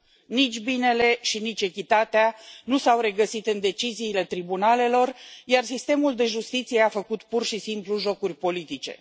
Nici binele și nici echitatea nu s au regăsit în deciziile tribunalelor, iar sistemul de justiție a făcut pur și simplu jocuri politice.